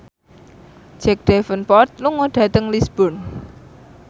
Jack Davenport lunga dhateng Lisburn